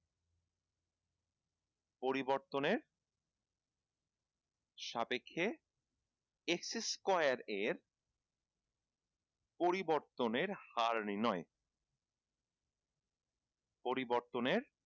পরিবর্তনের সাপেক্ষে x square এর পরিবর্তনের হার নির্ণয় পরিবর্তনের